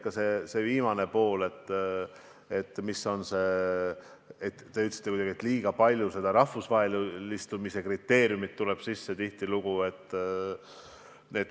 Kõigepealt see viimane märkus: te ütlesite kuidagi, et liiga palju võetakse tihtilugu arvesse rahvusvahelistumise kriteeriumit.